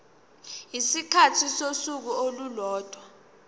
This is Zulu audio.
isikhathi sosuku olulodwa